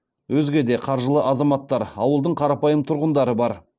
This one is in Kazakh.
өзге де қаржылы азаматтар ауылдың қарапайым тұрғындары бар